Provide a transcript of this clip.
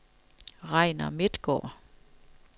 Regnar Midtgaard